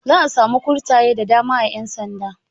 Za'a samu kurtaye da dama a ƴan sanda.